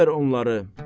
Bana ver onları.